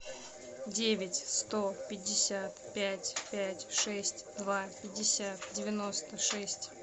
девять сто пятьдесят пять пять шесть два пятьдесят девяносто шесть